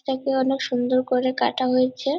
এটাকে অনেক সুন্দর করে কাটা হয়েছে।